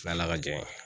N'ala ka jɛ ye